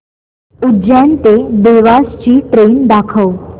उज्जैन ते देवास ची ट्रेन दाखव